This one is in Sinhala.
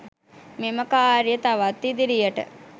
මෙම ක‍ාර්යය තවත් ඉදිරියට